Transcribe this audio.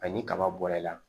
ni kaba bɔra i la